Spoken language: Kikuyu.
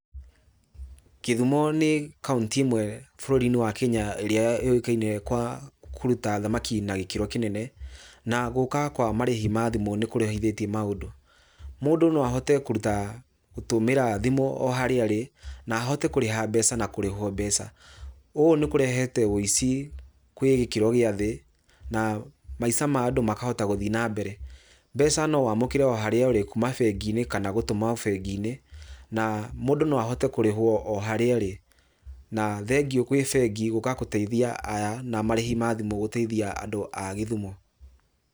Gĩthumo nĩ kaũntĩ ĩmwe bũrũri-inĩ wa Kenya ĩrĩa yũikaine kwa kũruta thamaki na gĩkĩro kĩnene, na gũka kwa marĩhi ma thimũ nĩ kũrehithĩtie maũndũ. Mũndũ no ahote kũruta, gũtũmĩra thimũ o harĩa arĩ, na ahote kũrĩha mbeca na kũrĩhwo mbeca. Ũũ nĩ kũrehete ũici gwĩ gĩkĩro gĩathĩ na maica ma andũ makahota gũthiĩ na mbere. Mbeca no wamũkĩre o harĩa ũrĩ kuma bengi-inĩ kana gũtũma bengi-inĩ, na mũndũ no ahote kũrĩhwo o harĩa arĩ. Na thengiũ gwĩ bengi gũka gũteithia aya na marĩhi ma thimũ gũteithia andũ a gĩthumo